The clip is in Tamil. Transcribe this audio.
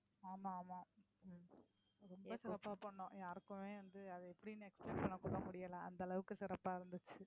ஆமா ஆமா ரொம்ப சிறப்பா பண்ணோம் யாருக்குமே வந்து அது எப்படின்னு explain பண்ண கூட முடியல அந்த அளவுக்கு சிறப்பா இருந்துச்சு.